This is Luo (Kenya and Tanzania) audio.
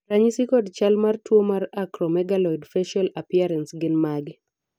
ranyisi kod chal mar tuo mar Acromegaloid facial appearance gin mage?